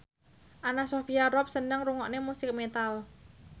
Anna Sophia Robb seneng ngrungokne musik metal